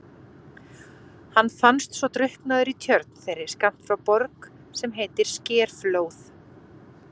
Hann fannst svo drukknaður í tjörn þeirri skammt frá Borg sem heitir Skerflóð.